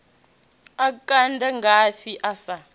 a kande ngafhi a sa